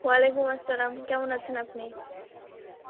Arbi কেমন আছেন আপনি?